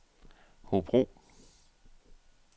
Hobro